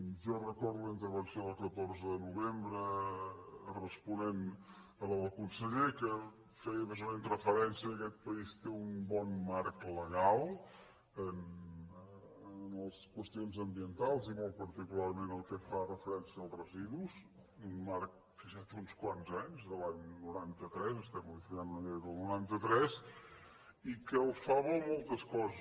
jo recordo la intervenció del catorze de novembre responent a la del conseller que feia més o menys referència al fet que aquest país té un bon marc legal en les qüestions ambientals i molt particularment en el que fa referència als residus un marc que ja té uns quants anys de l’any noranta tres estem modificant una llei del noranta tres i que el fan bo moltes coses